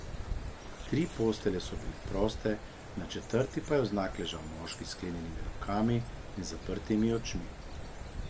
Tri postelje so bile proste, na četrti pa je vznak ležal moški s sklenjenimi rokami in zaprtimi očmi.